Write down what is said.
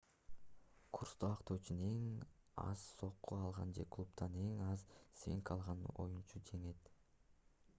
курсту актоо үчүн эң аз сокку алган же клубдан эң аз свинг алган оюнчу жеңет